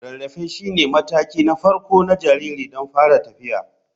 Rarrafe shine mataki na farko na jariri don fara tafiya.